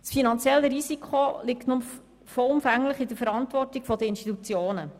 Das finanzielle Risiko liegt nun vollumfänglich in der Verantwortung der Institutionen.